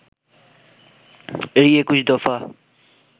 এই ২১ দফা